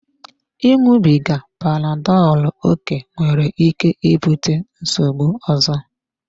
Ịṅụbiga panadolu oké nwere ike ibute nsogbu ọzọ.